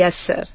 yes sir